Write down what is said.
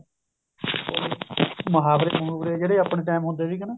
ਮੁਹਾਵਰੇ ਮਹੁਵਰੇ ਜਿਹੜੇ ਆਪਣੇ time ਹੁੰਦੇ ਸੀਗੇ ਨਾ